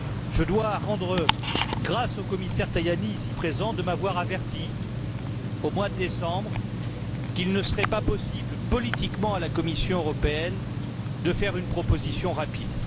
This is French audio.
Je dois rendre grâce au commissaire Tajani, ici présent, de m'avoir averti au mois de décembre qu'il ne serait pas possible politiquement, à la Commission européenne, de faire une proposition rapide.